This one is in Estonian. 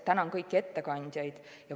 Tänan kõiki ettekandjaid!